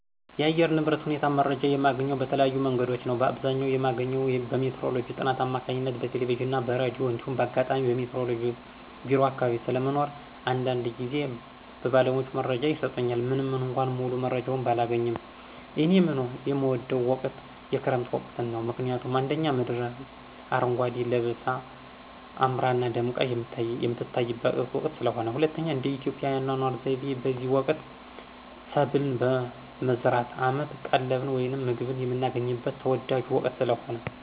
የአየር ንብረት ሁኔታ መረጃ የማገኘው በተለያዩ መንገዶች ነዉ። በአብዘኛዉ የማገኘው በሜትሮሎጅ ጥናት አማካኝነት በቴለቬዥንና በራዲዮ እንዲሁም ባጋጣሚ በሜትሮሎጅ ቢሮ አካባቢ ስለሞኖር አንዳንድጊዝ ባለሙያዎች መረጃ ይሰጡኛል። ምንምእኳ ሙሉመረጃውን ባላገኝም። እኔ የምወደው ወቅት የክረምት ወቅትን ነው። ምክንያቱም፦ 1)ምድር አረጓዴ ለበሳ አምራና ደምቃ የምትታይበት ወቅት ስለሆነ። 2)እንደኢትዮጵያ የአኗኗር ሁኔታ በዚህ ወቅት ሰብልን በመዝራት አመት ቀለብን ወይም ምግብን የምናገኝበት ተወዳጁ ወቅት ስለሆነ።